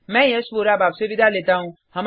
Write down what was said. मैं यश वोरा आपसे विदा लेता हूँ